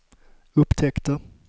upptäckte